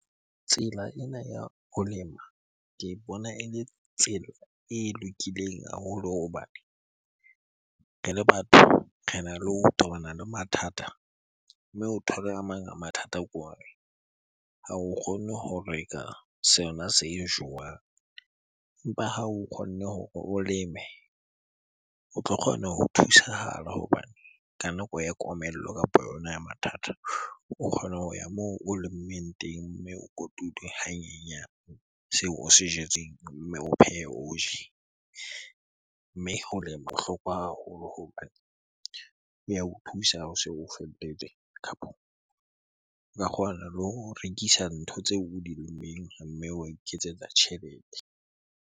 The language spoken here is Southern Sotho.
Tsela ena ya ho lema ke bona ele tsela e lokileng haholo hobane re le batho rena le ho tobana le mathata. Mme o thole a mang a mathata ke hore ha o kgone ho reka sona se jowang. Empa ha o kgonne hore o leme o tlo kgona ho thusahala hobane ka nako ya komello kapo yona ya mathata, o kgona ho ya moo o lemmeng teng mme o kotulwe hanyenyane seo o se jetseng o pheye o je. Mme ho lema bohlokwa haholo hobane e ya o thusa ha o se o kapo o ka kgona le ho rekisa ntho tseo o di lemmeng mme wa iketsetsa tjhelete.